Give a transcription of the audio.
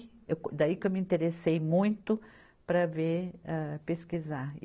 Eu co, daí que eu me interessei muito para ver, ah pesquisar.